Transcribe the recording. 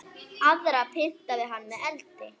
Aðra pyntaði hann með eldi.